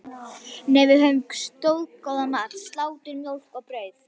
Nei, við höfðum staðgóðan mat: Slátur, mjólk og brauð.